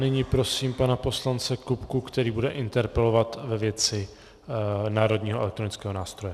Nyní prosím pana poslance Kupku, který bude interpelovat ve věci Národního elektronického nástroje.